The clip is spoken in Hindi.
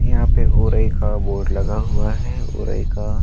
यहाँ पे ओरइ का बोर्ड लगा हुआ है। ओरइ का --